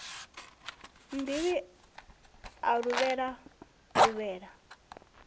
nnḓivhi a luvhelela o luvhelela